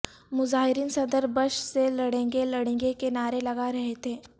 مظاہرین صدر بش سے لڑیں گے لڑیں گے کے نعرے لگا رہے تھے